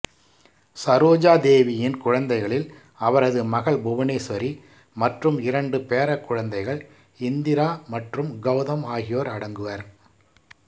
சரோஜா தேவியின் குழந்தைகளில் அவரது மகள் புவனேஸ்வரி மற்றும் இரண்டு பேரக்குழந்தைகள் இந்திரா மற்றும் கௌதம் ஆகியோர் அடங்குவர்